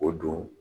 O don